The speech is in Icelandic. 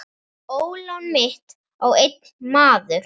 Ólán mitt á einn maður.